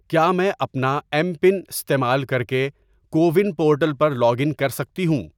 کیا میں اپنا ایم پن استعمال کر کے کو ون پورٹل پر لاگ ان کر سکتی ہوں؟